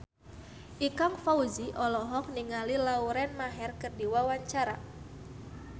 Ikang Fawzi olohok ningali Lauren Maher keur diwawancara